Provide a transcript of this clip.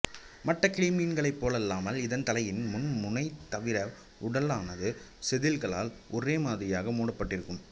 மற்ற கிளிமீன்களைப் போலல்லாமல் இதன் தலையின் முன் முனை தவிர உடலானது செதில்களால் ஒரே மாதிரியாக மூடப்பட்டிருக்கும்